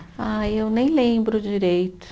Ah, eu nem lembro direito.